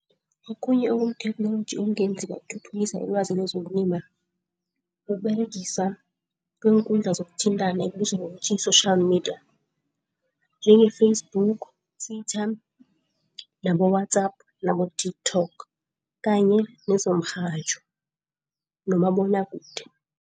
Okhunye okuyitheknoloji okungenziwa ukuthuthukisa ilwazi lezokulima. Kuberegiswa kweenkundla zokuthintana ekubizwa ngokuthi yi-social media njenge Facebook, nabo-WhatsApp nabo-TikTok kanye nezomrhatjho nomabonwakude.